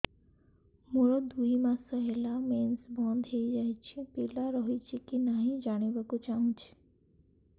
ମୋର ଦୁଇ ମାସ ହେଲା ମେନ୍ସ ବନ୍ଦ ହେଇ ଯାଇଛି ପିଲା ରହିଛି କି ନାହିଁ ଜାଣିବା କୁ ଚାହୁଁଛି